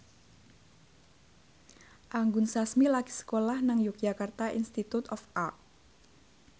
Anggun Sasmi lagi sekolah nang Yogyakarta Institute of Art